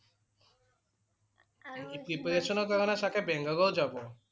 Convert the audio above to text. preparation ৰ কাৰণে চাগে বাংগালোৰ যাব